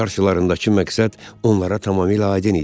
Qarşılarındakı məqsəd onlara tamamilə aydın idi.